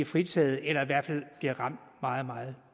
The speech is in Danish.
fritaget eller i hvert fald bliver ramt meget meget